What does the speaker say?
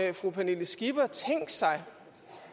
har fru pernille skipper tænkt sig